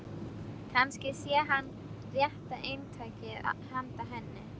Kannski sé hann rétta eintakið handa henni.